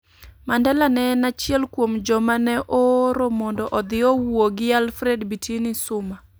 Mandela ne en achiel kuom joma ne ooro mondo odhi owuo gi Alfred Bitini Xuma,